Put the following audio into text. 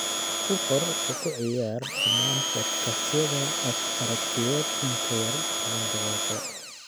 ku qor oo ku ciyaar dhammaan podcast-yada aragtiyeed in ka yar toban daqiiqo